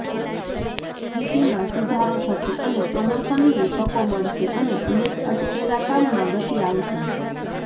સ્થિતિમાં સુધારો થશે અને પ્રમોશનની તકો મળશે અને અનેક અટકેલા કામમાં ગતિ આવશે